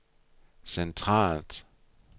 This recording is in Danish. centralt